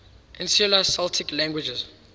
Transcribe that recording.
insular celtic languages